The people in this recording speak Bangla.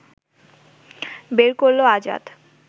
বের করল আজাদ